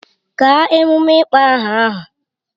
Gaa emume ịkpọ aha ahụ!